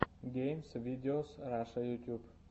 геймс видеос раша ютуб